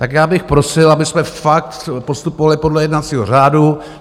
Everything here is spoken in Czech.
Tak já bych prosil, abychom fakt postupovali podle jednacího řádu.